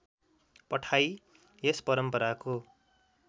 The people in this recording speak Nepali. पठाई यस परम्पराको